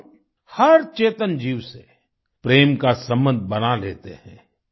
हम हर चेतन जीव से प्रेम का संबंध बना लेते हैं